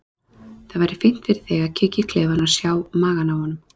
Það væri fínt fyrir þig að kíkja í klefann og sjá magann á honum,